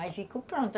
Aí ficou pronto.